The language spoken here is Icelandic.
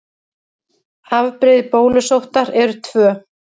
Afbrigði bólusóttar eru tvö.